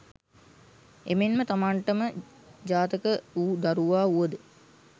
එමෙන් ම තමන්ට ම ජාතක වු දරුවා වුව ද